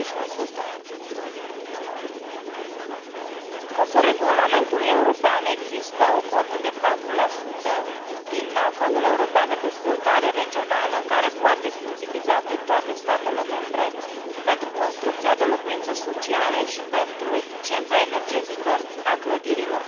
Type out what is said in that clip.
20 Conform Regulamentului european, există o cotă de 4 din Fondul european de dezvoltare regională care poate fi utilizată de toate statele membre pentru construcția de locuințe sociale și pentru eficiența energetică a clădirilor.